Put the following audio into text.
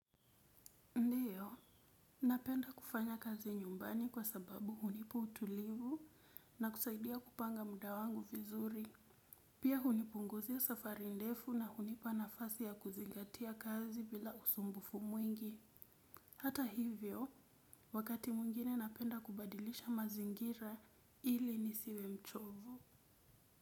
Ndiyo, napenda kufanya kazi nyumbani kwa sababu hunipa utulivu na kusaidia kupanga muda wangu vizuri. Pia hunipunguzi safari ndefu na hunipa nafasi ya kuzingatia kazi bila usumbufu mwingi. Hata hivyo wakati mwingine napenda kubadilisha mazingira ili nisiwe mchovu.